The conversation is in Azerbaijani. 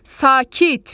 Sakit!